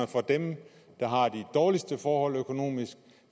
for dem der har de dårligste forhold økonomisk